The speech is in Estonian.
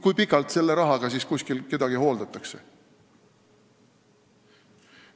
Kui pikalt selle raha eest kedagi kuskil hooldatakse?